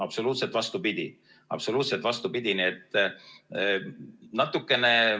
Absoluutselt vastupidi!